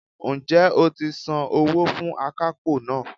Ǹ jẹ́ o ti san owó fún akápò náà